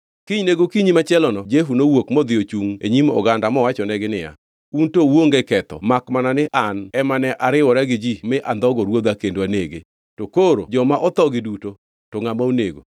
Kinyne gokinyi machielono Jehu nowuok modhi ochungʼ e nyim oganda mowachonegi niya, “Un to uonge ketho makmana ni an ema ne ariwora gi ji ma andhogo ruodha kendo anege, to koro joma othogi duto, to ngʼama onego?